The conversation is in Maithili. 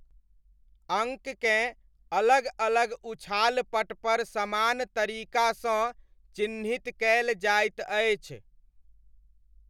अङ्ककेँ अलग अलग उछाल पटपर समान तरीकासँ चिह्नित कयल जाइत अछि।